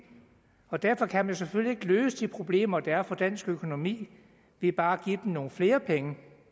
og derfor kan man selvfølgelig ikke løse de problemer der er for dansk økonomi ved bare at give dem nogle flere penge